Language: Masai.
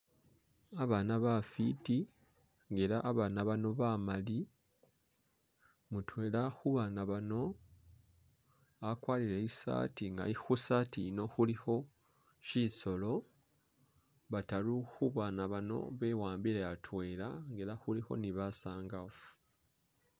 Abana bafwiti ela abana bano bamali, mutwela khubana bano akwarire isaati nga khusaati iyino khulikho shisolo, bataru khubana bano bewambile atwela nga ela khulikho ne basangaafu